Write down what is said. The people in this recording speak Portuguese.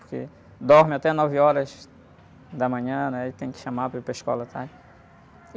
Porque dorme até nove horas da manhã, né? E tem que chamar para ir para a escola à tarde.